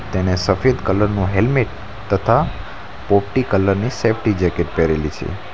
તેને સફેદ કલર નું હેલ્મેટ તથા પોપટી કલર ની સેફટી જેકેટ પહેરેલી છે.